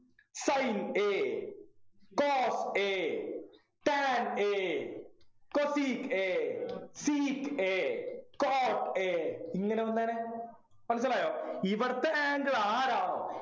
Sin a cos a tan a cosec a sec a cot a ഇങ്ങനെ വന്നേനെ മനസ്സിലായോ ഇവിടത്തെ angle ആരാണോ